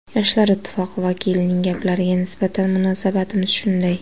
Yoshlar ittifoqi vakilining gaplariga nisbatan munosabatimiz shunday.